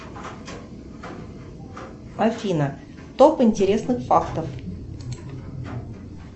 афина топ интересных фактов